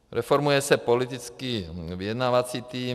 Reformuje se politický vyjednávací tým.